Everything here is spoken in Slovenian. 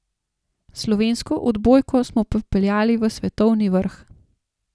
Slovensko odbojko smo popeljali v svetovni vrh.